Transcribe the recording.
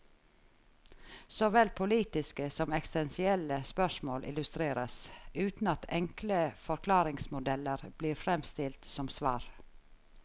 Såvel politiske som eksistensielle spørsmål illustreres, uten at enkle forklaringsmodeller blir fremstilt som svar.